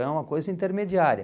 É uma coisa intermediária.